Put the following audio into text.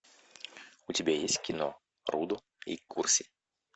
у тебя есть кино рудо и курси